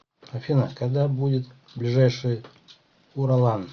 афина когда будет ближайший уралан